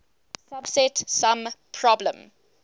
subset sum problem